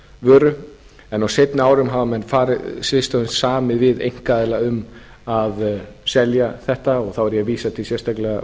vöru en á seinni árum hafa menn samið við einkaaðila um að selja þetta og þér ég sérstaklega að vísa